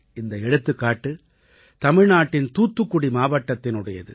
இந்த எடுத்துக்காட்டு தமிழ்நாட்டின் தூத்துக்குடி மாவட்டத்தினுடையது